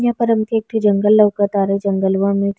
यहाँ पर अभी एकटो जंगल लउकतारे जंगलवा में --